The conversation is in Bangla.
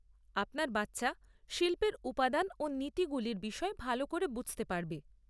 আপনার বাচ্চা শিল্পের উপাদান ও নীতিগুলির বিষয়ে ভাল করে বুঝতে পারবে।